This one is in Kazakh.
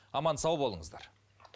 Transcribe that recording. аман сау болыңыздар